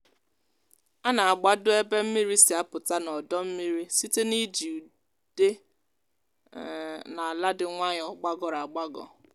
a na-agbado ebe mmiri si apụta n’odọ mmiri site n’iji ude um na ala dị nwayọ gbagọrọ agbagọ.